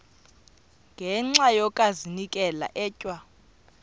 ngenxa yokazinikela etywa